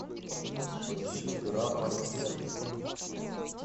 поищи дыра в моем сердце